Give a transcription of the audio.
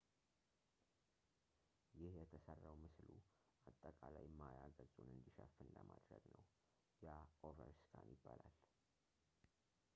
ይህ የተሠራው ምስሉ አጠቃላይ ማያ ገጹን እንዲሸፍን ለማድረግ ነው ያ ኦቨር ስካን ይባላል